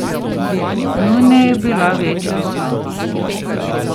Njuna je bila večja soba.